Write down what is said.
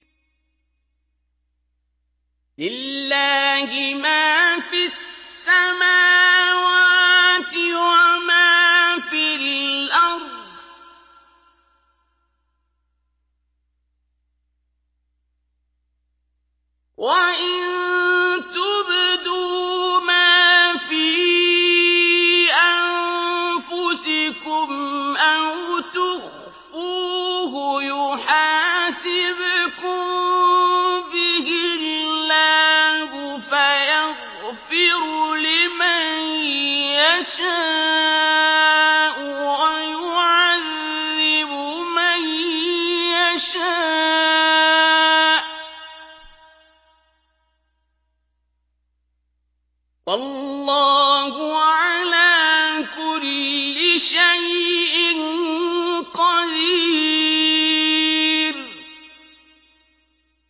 لِّلَّهِ مَا فِي السَّمَاوَاتِ وَمَا فِي الْأَرْضِ ۗ وَإِن تُبْدُوا مَا فِي أَنفُسِكُمْ أَوْ تُخْفُوهُ يُحَاسِبْكُم بِهِ اللَّهُ ۖ فَيَغْفِرُ لِمَن يَشَاءُ وَيُعَذِّبُ مَن يَشَاءُ ۗ وَاللَّهُ عَلَىٰ كُلِّ شَيْءٍ قَدِيرٌ